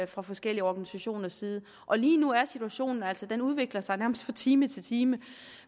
fra forskellige organisationers side og lige nu er situationen altså den udvikler sig nærmest fra time til time